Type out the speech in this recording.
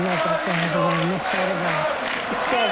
Nə də dərdi var, nə səri var.